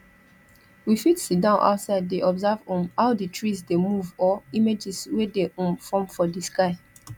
we fit sitdown outside de observe um how di trees de move or images wey de um form for di sky